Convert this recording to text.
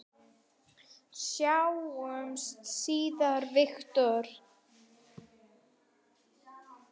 Sjáumst síðar, Viktor.